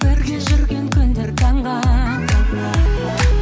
бірге жүрген күндер таңға